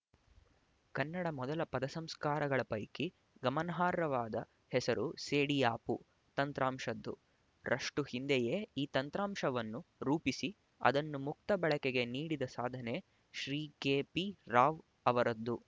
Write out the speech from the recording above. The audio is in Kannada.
ಕನ್ನಡ ಮೊದಲ ಪದಸಂಸ್ಕಾರಕಗಳ ಪೈಕಿ ಗಮನಾರ್ಹವಾದ ಹೆಸರು ಸೇಡಿಯಾಪು ತಂತ್ರಾಂಶದ್ದು ರಷ್ಟು ಹಿಂದೆಯೇ ಈ ತಂತ್ರಾಂಶವನ್ನು ರೂಪಿಸಿ ಅದನ್ನು ಮುಕ್ತ ಬಳಕೆಗೆ ನೀಡಿದ ಸಾಧನೆ ಶ್ರೀ ಕೆ ಪಿ ರಾವ್ ಅವರದ್ದು